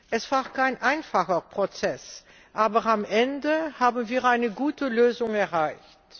Es war kein einfacher Prozess, aber am Ende haben wir eine gute Lösung erreicht.